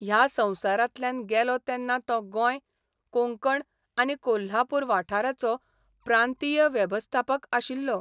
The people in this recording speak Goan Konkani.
ह्या संवसारांतल्यान गेलो तेन्ना तो गोंय, कोंकण आनी कोल्हापूर वाठाराचो प्रांतीय वेवस्थापक आशिल्लो.